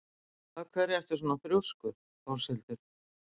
Af hverju ertu svona þrjóskur, Áshildur?